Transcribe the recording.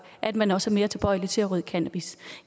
at man også er mere tilbøjelig til at ryge cannabis